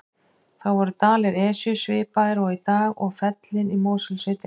Þá voru dalir Esju svipaðir og í dag og fellin í Mosfellssveit einnig.